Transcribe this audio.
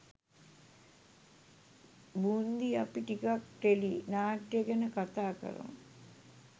බූන්දි අපි ටිකක් ටෙලි නාට්‍ය ගැන කතා කරමු.